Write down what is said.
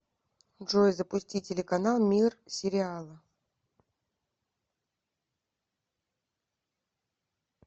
джой запусти телеканал мир сериала